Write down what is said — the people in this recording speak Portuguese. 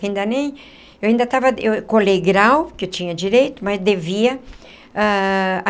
Ainda nem... Eu ainda estava... Eu colei grau, que eu tinha direito, mas devia ah.